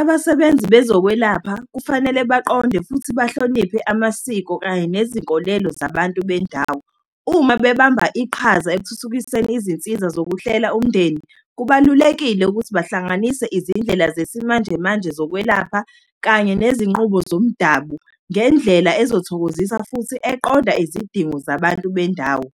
Abasebenzi bezokwelapha kufanele baqonde futhi bahloniphe amasiko, kanye nezinkolelo zabantu bendawo. Uma bebamba iqhaza ekuthuthukiseni izinsiza zokuhlela umndeni kubalulekile ukuthi bahlanganise izindlela zesimanjemanje zokwelapha kanye nezinqubo zomdabu, ngendlela ezothokozisa, futhi eqonda izidingo zabantu bendawo.